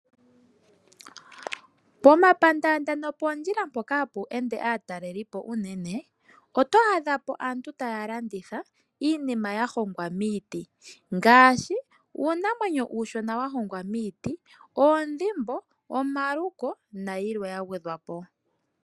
Pomapandaanda nopoondjila mpoka hapu ende aatalelipo unene oto adha po aantu taya landitha iinima ya hongwa miiti. Ngaashi uunamwenyo uushona wa hongwa miiti, oondhimbo, omaluko nayilwe ya gwedhwa po.